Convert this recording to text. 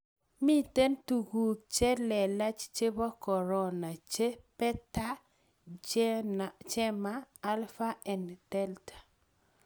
mito tunguik che lelach chebo korona che ; Beta, Gamma , Alpha ak Delta.